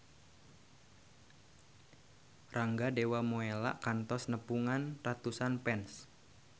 Rangga Dewamoela kantos nepungan ratusan fans